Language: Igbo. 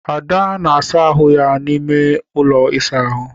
Ada na-asa ahụ n'ime ụlọ ịsa ahụ.